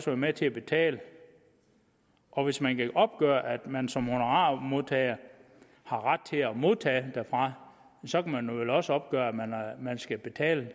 være med til at betale og hvis man kan opgøre at man som honorarmodtager har ret til at modtage derfra så kan man vel også opgøre at man skal betale